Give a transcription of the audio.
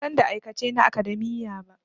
Ban san da aikace na academia ba.